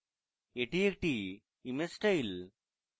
এটি একটি image style